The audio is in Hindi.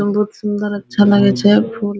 अमरुद सूंदर अच्छा लागे छै